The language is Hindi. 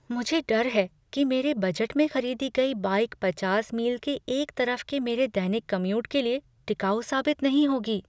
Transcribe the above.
मुझे डर है कि मेरे बजट में खरीदी गई बाइक पचास मील के एक तरफ के मेरे दैनिक कम्यूट के लिए टिकाऊ साबित नहीं होगी।